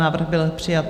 Návrh byl přijat.